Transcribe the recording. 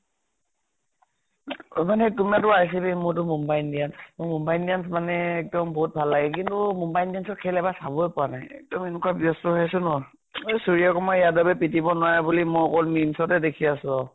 মানে তুমিটো RCB মোৰটো মুম্বাই ইণ্ডিয়ানছ, মোৰ মুম্বাই ইণ্ডিয়ানছ মানে এক্দম বহুত ভাল লাগে । কিন্তু মুম্বাই ইণ্ডিয়ানছ ৰ খেল এইবাৰ চাবই পৰা নাই। এনেকুৱা ব্য়স্ত হৈ আছো ন। ঐ সুৰ্য়া কুমাৰ য়াদবে পিতিব নোৱাৰে বুলি মৈ অকল memes তে দেখি আছো আৰু।